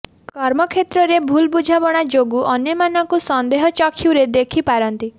କର୍ମକ୍ଷେତ୍ରରେ ଭୁଲ୍ ବୁଝାମଣା ଯୋଗୁ ଅନ୍ୟମାନଙ୍କୁ ସନ୍ଦେହ ଚକ୍ଷୁରେ ଦେଖିପାରନ୍ତି